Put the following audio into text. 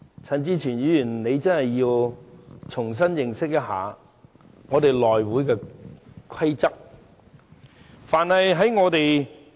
陳志全議員真的需要重新認識一下議會的規則。